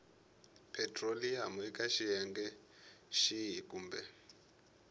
petiroliyamu eka xiphemu xihi kumbe